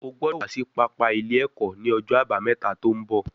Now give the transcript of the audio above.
O gbọ́dọ̀ wá sí pápá ilé ẹ̀kọ́ ní ọjọ́ àbámẹ́ta tó ń bọ̀